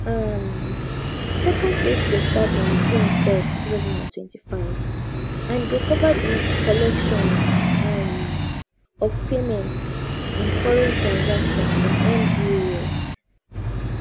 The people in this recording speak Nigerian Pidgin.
um second phase go start on june 1 2025 and e go cover di collections um of payments in foreign transaction from mdas